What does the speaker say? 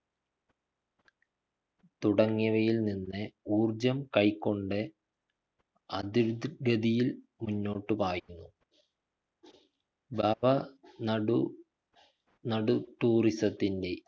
തുടങ്ങിയവയിൽ നിന്ന് ഊര്‍ജം കൈക്കൊണ്ട് അതി ഗതിയിൽ മുന്നോട്ട് പായുന്നു ബാബ നടു നടു tourism ത്തിൻ്റെ